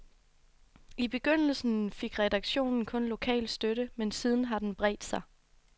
I begyndelsen fik redaktionen kun lokal støtte, men siden har den bredt sig.